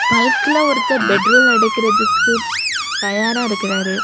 பங்குல ஒருத்தர் பெட்ரோல் எடுக்கிறதுக்கு தயாரா இருக்காரு.